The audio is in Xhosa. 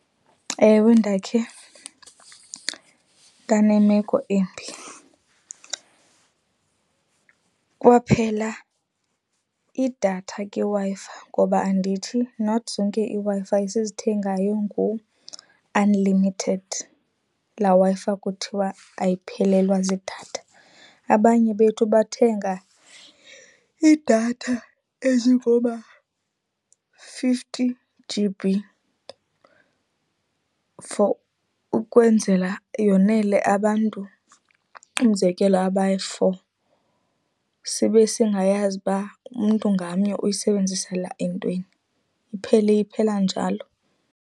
Ewe, ndakhe ndane meko embi. Kwaphela idatha kwiWi-Fi ngoba andithi not zonke iiWi-Fi esizithengayo ngu-unlimited, laa Wi-Fi kuthiwa ayiphelelwa ziidatha. Abanye bethu bathenga idatha ezingoma-fifty G_B for ukwenzela yonele abantu, umzekelo abayi-four, sibe singayazi uba umntu ngamnye uyisebenzisela entweni. Iphele iphela njalo.